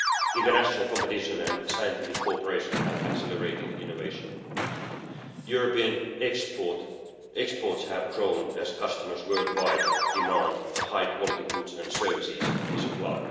International competition and scientific cooperation have accelerated innovation. European exports have grown as customers worldwide demand the high-quality goods and services we supply.